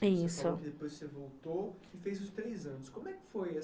Isso, você falou que depois você voltou, e fez os três anos. Como é que foi?